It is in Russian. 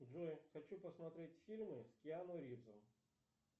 джой хочу посмотреть фильмы с киану ривзом